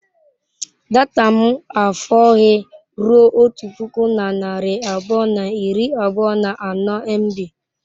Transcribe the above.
Data m afọghị ruo otu puku na narị abụọ na iri abụọ na anọ mb.